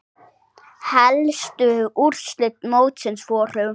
Helstu úrslit mótsins voru